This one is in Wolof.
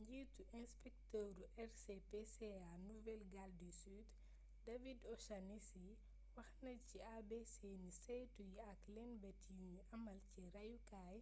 njiitu inspektëru rspca nouvelle-galles du sud david o'shannessy wax na ni ci abc ni saytu yi ak lëñbët yuñy amal ci rayukaay